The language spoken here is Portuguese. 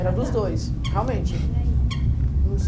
Era dos dois, realmente. E aí ?